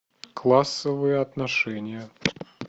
классовые отношения